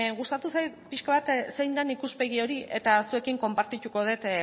gustatu zait pixka bat zein den ikuspegi hori eta zuekin konpartituko dut